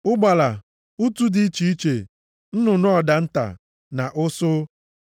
ụgbala, utù dị iche iche, nnụnụ ọdụ nta + 11:19 Maọbụ, hoopoe na ụsụ.